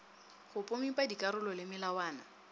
go pomipa dikarolo le melawana